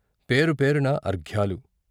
పేరు పేరునా అర్ఘ్యాలు.